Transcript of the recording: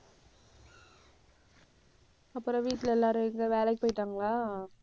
அப்புறம் வீட்டில எல்லாரும் எங்க வேலைக்கு போயிட்டாங்களா?